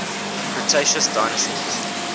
cretaceous dinosaurs